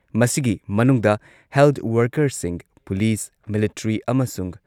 ꯃꯁꯤꯒꯤ ꯃꯅꯨꯡꯗ ꯍꯦꯜꯊ ꯋꯔꯀꯔꯁꯤꯡ, ꯄꯨꯂꯤꯁ, ꯃꯤꯂꯤꯇ꯭ꯔꯤ ꯑꯃꯁꯨꯡ